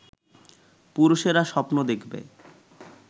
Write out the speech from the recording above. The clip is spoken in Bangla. পুরুষেরা স্বপ্ন দেখবে